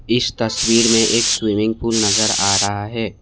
इस तस्वीर में एक स्विमिंग पूल नजर आ रहा है।